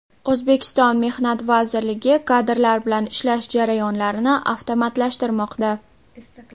O‘zbekiston Mehnat vazirligi kadrlar bilan ishlash jarayonlarini avtomatlashtirmoqda.